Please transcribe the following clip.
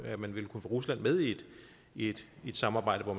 at man ville kunne få rusland med i i et samarbejde hvor